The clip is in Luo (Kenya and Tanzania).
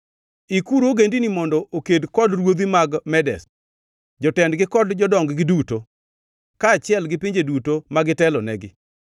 Ikuru ogendini mondo oked kod ruodhi mag Medes, jotendgi kod jodong-gi duto, kaachiel gi pinje duto ma gitelonegi.